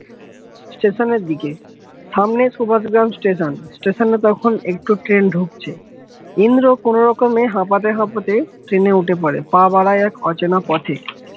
station এর দিকে সামনে সুভাস গ্রাম station station নে তখুন একটা train ঢুকছে, ইন্দ্র কোনরকমে হাঁপাতে হাঁপাতে train এ উঠে পড়ে পা বারা এক অচেনা পথে